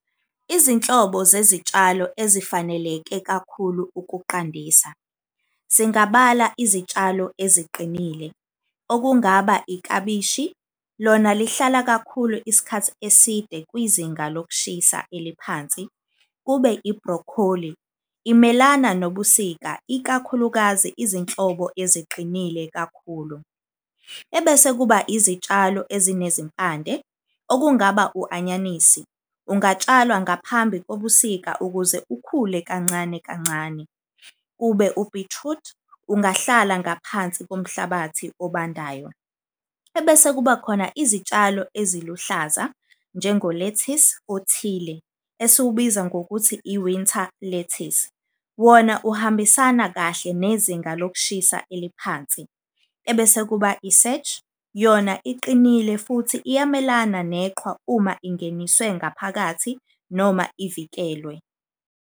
Izinhlobo zezitshalo ezifaneleke kakhulu ukuqandisa, singabala izitshalo eziqinile okungaba iklabishi. Lona lihlala kakhulu isikhathi eside kwizinga lokushisa eliphansi. Kube i-broccoli imelana nobusika, ikakhulukazi izinhlobo eziqinile kakhulu. Ebese kuba izitshalo ezinezimpande okungaba u-anyanisi, ungatshalwa ngaphambi kobusika ukuze ukhule kancane kancane. Kube u-beetroot, ungahlala ngaphansi komhlabathi obandayo. Ebese kuba khona izitshalo eziluhlaza njengo-lettuce othile esiwubiza ngokuthi i-winter lettuce, wona uhambisana kahle nezinga lokushisa eliphansi. Ebese kuba i-serge yona iqinile futhi iyamelana neqhwa uma ingeniswe ngaphakathi noma ivikelwe.